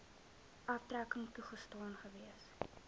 aftrekking toegestaan gewees